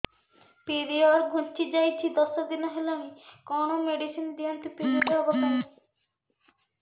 period ଘୁଞ୍ଚି ଯାଇଛି ଦଶ ଦିନ ହେଲାଣି କଅଣ ମେଡିସିନ ଦିଅନ୍ତୁ ପିରିଅଡ଼ ହଵା ପାଈଁ